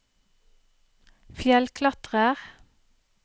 fjellklatrer